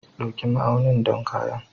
Ɗauki ma'aunin don kayan.